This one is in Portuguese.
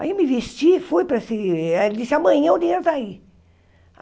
Aí eu me vesti, fui para esse... Ele disse, amanhã o dinheiro está aí.